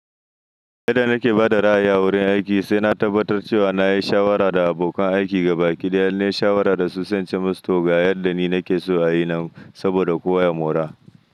Yadda nake ba da ra'ayi a wurin aiki, sai na tabbatar cewa na yi shawara da abokan aiki gabaɗaya inna yi shawara da su sai ince musu toga yadda ni nake so a yi nan saboda kowa ya mora.